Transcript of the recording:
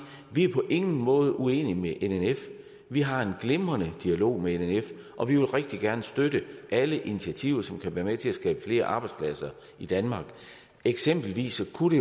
vi på ingen måde er uenige med nnf vi har en glimrende dialog med nnf og vi vil rigtig gerne støtte alle initiativer som kan være med til at skabe flere arbejdspladser i danmark eksempelvis kunne